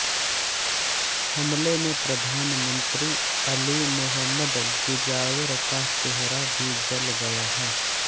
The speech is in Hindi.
हमले में प्रधानमंत्री अली मोहम्मद मुजावर का चेहरा भी जल गया है